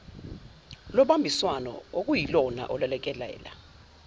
lobambiswano okuyilona olulekelela